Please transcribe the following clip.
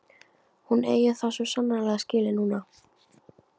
Hún eigi það svo sannarlega skilið núna.